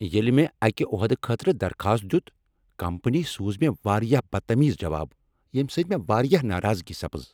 ییٚلہ مےٚ اکہِ عہدٕ خٲطرٕ درخاست دِیُت، کمپنی سوٗز مےٚ واریاہ بدتمیز جواب ییٚمہ سۭتۍ مےٚ واریاہ ناراضگی سپز۔